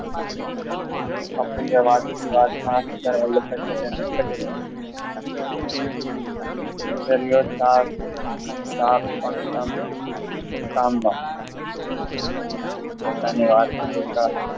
બાપુ એ વાતની વાતમાં સરદાર વલ્લભભાઈ પટેલ ને કહ્યું પોતાની વાતને જોતા